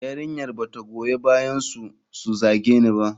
Yarinyar ba ta goyi bayansu su zage ni ba.